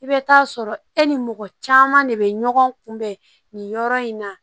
I bɛ taa sɔrɔ e ni mɔgɔ caman de bɛ ɲɔgɔn kunbɛn nin yɔrɔ in na